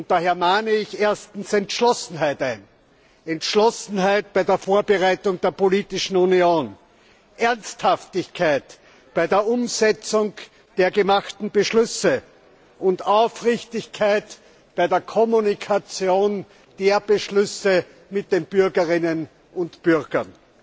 Daher mahne ich erstens Entschlossenheit ein, Entschlossenheit bei der Vorbereitung der politischen Union, Ernsthaftigkeit bei der Umsetzung der gemachten Beschlüsse und Aufrichtigkeit bei der Kommunikation der Beschlüsse mit den Bürgerinnen und Bürgern.